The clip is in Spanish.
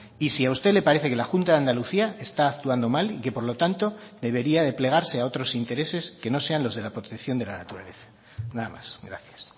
y si a usted le parece que la junta de andalucía está actuando mal y que por lo tanto debería de plegarse a otros intereses que no sean los de la protección de la naturaleza nada más gracias